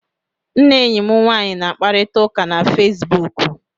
M na enyi m nwaanyị na-akparịta ụka na Fesibuku